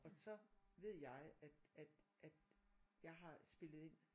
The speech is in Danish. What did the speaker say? Og så ved jeg at at at jeg har spillet ind